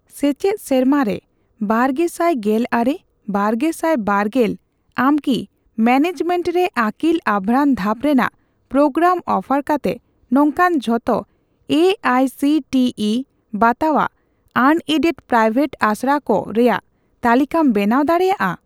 ᱥᱮᱪᱮᱫ ᱥᱮᱨᱢᱟᱨᱮ ᱵᱟᱨᱜᱮᱥᱟᱴ ᱜᱮᱞᱟᱨᱮᱼ ᱵᱟᱨᱜᱮᱥᱟᱭ ᱵᱟᱨᱜᱮᱞ ᱟᱢᱠᱤ ᱢᱮᱱᱮᱡᱢᱮᱱᱴ ᱨᱮ ᱟᱹᱠᱤᱞ ᱟᱵᱷᱨᱟᱱ ᱫᱷᱟᱯ ᱨᱮᱱᱟᱜ ᱯᱨᱳᱜᱨᱟᱢ ᱚᱯᱷᱟᱨ ᱠᱟᱛᱮ ᱱᱚᱝᱠᱟᱱ ᱡᱷᱚᱛᱚ A I C T E ᱵᱟᱛᱟᱣᱟᱜ ᱟᱱᱮᱰᱮᱰᱼᱯᱨᱟᱭᱶᱮᱴ ᱟᱥᱲᱟᱠᱩ ᱨᱮᱭᱟᱜ ᱛᱟᱞᱤᱠᱟᱢ ᱵᱮᱱᱟᱣ ᱫᱟᱲᱮᱭᱟᱜᱼᱟ ?